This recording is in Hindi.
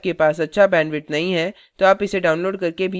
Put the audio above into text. यदि आपके पास अच्छा bandwidth नहीं है तो आप इसे download करके देख सकते हैं